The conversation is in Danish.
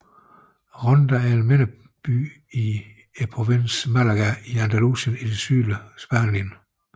Ronda er en mindre by i provinsen Málaga i Andalusien i det sydlige Spanien